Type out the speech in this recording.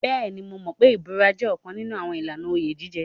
Bẹ́ẹ̀ni, mo mọ̀ pé ìbúra jẹ́ ọ̀kan nínú ìlànà oyè jíjẹ.